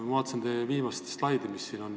Ma vaatasin teie viimast slaidi ja märkasin ...